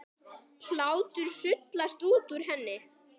Hlátur sullast út úr henni.